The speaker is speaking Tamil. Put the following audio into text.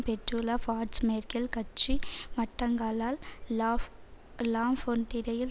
பெற்றுள்ள பார்ட்ஸ் மேற்கில் கட்சி வட்டங்களால் லாஃப் லாஃபொன்டிடையில்